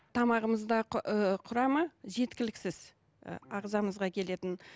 тамағымызда ыыы құрамы жеткіліксіз ы ағзамызға келетін